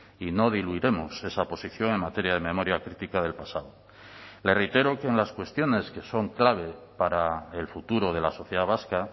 y no diluiremos esa posición en materia de memoria crítica del pasado le reitero que en las cuestiones que son clave para el futuro de la sociedad vasca